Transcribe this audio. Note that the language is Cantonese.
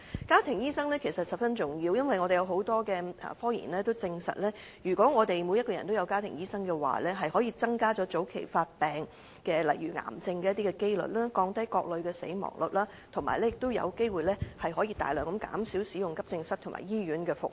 家庭醫生十分重要，因為有很多科研也證實，如果每個人也有家庭醫生，可以增加早期發現病症例如癌症的機率，降低各類的死亡率，以及有機會大量減少使用急症室和醫院的服務。